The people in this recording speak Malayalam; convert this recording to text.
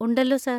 ഉണ്ടല്ലോ, സർ.